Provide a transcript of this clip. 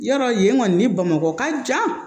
Yɔrɔ yen kɔni ni bamakɔ ka jan